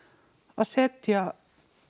að setja